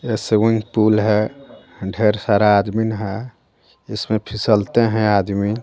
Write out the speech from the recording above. यह swimming pool है ढेर सारा आदमीन है इसमें फिसलते हैं आदमीन.